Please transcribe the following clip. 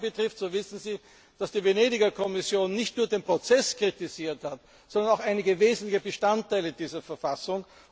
Was die Verfassung betrifft, so wissen Sie, dass die Venedig Kommission nicht nur den Prozess kritisiert hat, sondern auch einige wesentliche Bestandteile dieser Verfassung.